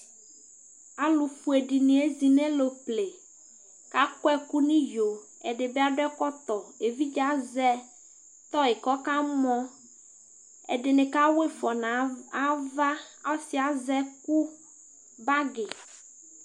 alʊfoe dɩnɩ ezɩnʊ alʊple kʊ akɔ ɛkʊ nʊ ɩyo kakɔ ɛkɔtɔ eʋidje azɛ tɔyɩ kʊ ɔkamɔ ɛdɩnɩ ka wɔ ɩfɔ nʊ aʋa ɔsiyɛ azɛ kʊ bagɩ